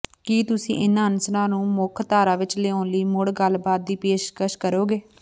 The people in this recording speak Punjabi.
ਕੀ ਤੁਸੀਂ ਇਨ੍ਹਾਂ ਅਨਸਰਾਂ ਨੂੰ ਮੁੱਖ ਧਾਰਾ ਵਿੱਚ ਲਿਆਉਣ ਲਈ ਮੁੜ ਗੱਲਬਾਤ ਦੀ ਪੇਸ਼ਕਸ਼ ਕਰੋਗੇ